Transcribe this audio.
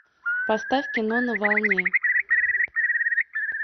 поставь кино на волне